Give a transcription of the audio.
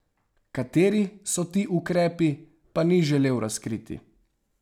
Kateri so ti ukrepi, pa ni želel razkriti.